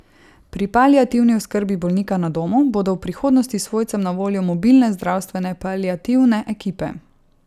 Pri paliativni oskrbi bolnika na domu bodo v prihodnosti svojcem na voljo mobilne zdravstvene paliativne ekipe.